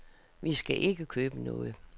Vi skal ikke købe noget.